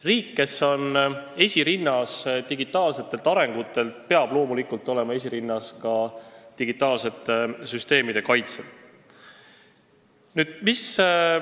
Riik, kes on digitaalse arengu poolest esirinnas, peab loomulikult olema esirinnas ka digitaalsete süsteemide kaitsel.